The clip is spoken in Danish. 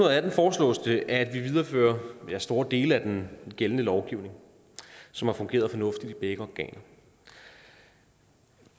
og atten foreslås det at vi viderefører store dele af den gældende lovgivning som har fungeret fornuftigt for begge organer